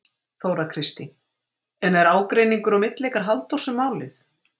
Þóra Kristín: En er ágreiningur á milli ykkar Halldórs um málið?